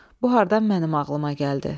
Bu hardan mənim ağlıma gəldi?